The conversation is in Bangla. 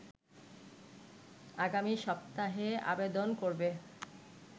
আগামী সপ্তাহে আবেদন করবে